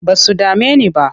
Ba su dame ni ba.